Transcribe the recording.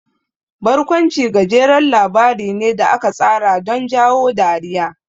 Barkwanci gajeren labari ne da aka tsara don jawo dariya.